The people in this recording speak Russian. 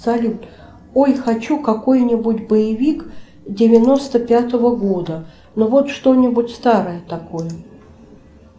салют ой хочу какой нибудь боевик девяносто пятого года ну вот что нибудь старое такое